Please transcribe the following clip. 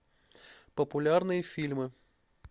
популярные фильмы